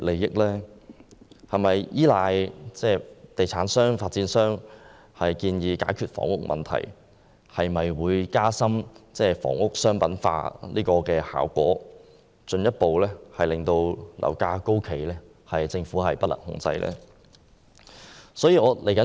如果政府依賴地產商的建議解決房屋問題，會否加深房屋商品化的效果，進一步推高樓價，令政府不能控制？